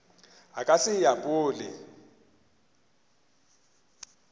a ka se e apole